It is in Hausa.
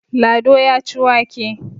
Lado ya ci wake.